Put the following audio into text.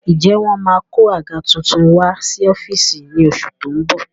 Ǹjẹ́ wọ́n máa kó àga tuntun wá sí ọ́fíìsì ní oṣù tó ń bọ̀?